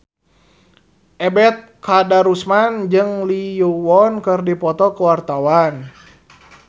Ebet Kadarusman jeung Lee Yo Won keur dipoto ku wartawan